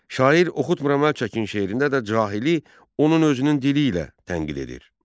Şair "Oxutmuram, əl çəkin" şeirində də cahili onun özünün dili ilə tənqid edir.